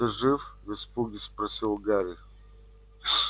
ты жив в испуге спросил гарри